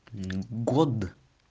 мм год